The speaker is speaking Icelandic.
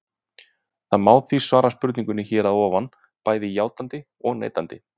Það má því svara spurningunni hér að ofan bæði játandi og neitandi.